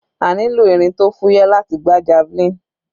A nílò irin tó fúyẹ́ láti gbá javelin.